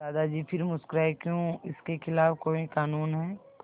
दादाजी फिर मुस्कराए क्यों इसके खिलाफ़ कोई कानून है